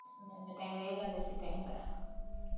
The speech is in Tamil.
இந்த time ல ஏகாதசி time ல